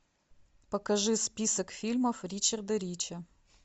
покажи список фильмов ричарда рича